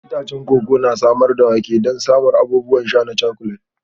Itacen koko na samar da wake don samar da abubuwan sha na cakulan.